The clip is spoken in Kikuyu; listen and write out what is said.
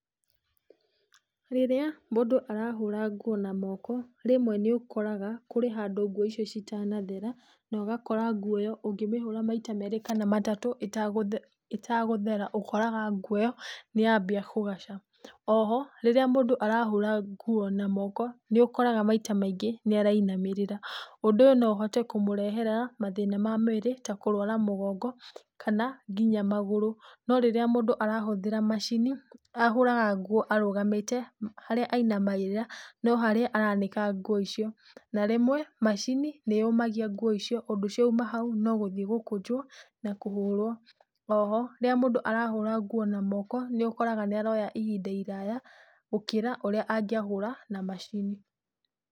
Rĩrĩa mũndũ arahũra nguo na moko rĩmwe nĩ ũkoraga kũrĩ handũ nguo ĩyo itanathere, na ũgakora nguo ĩyo ũngĩmĩthambia maitha ta merĩ kana matatũ ĩtegũthera, ũkoraga nguo ĩyo nĩ yambia kũgaca. Oho rĩrĩa mũndũ arathambia nguo na moko, nĩ ũkoraga maita maingĩ nĩ arainamĩrĩra. Ũndũ ũyũ no ũhote kũmũrehera mathĩna ma mwĩrĩ ta kũrwara mũgongo, kana nginya magũrũ. No rĩrĩa mũndũ arahũthĩra macini ahũraga nguo arugamĩte, harĩa ainamagĩrĩra, no harĩa aranĩka nguo icio. Na rĩmwe macini nĩ yũmagia ngũo icio ũndũ ciauma haũ no gũthiĩ gũkũnjwo na kũhũrwo bathi. Oho, rĩrĩa mũndũ arahũra na moko, nĩ ũkoraga ni aroya ihinda iraya, gũkĩra ũrĩa angĩahũra na macini.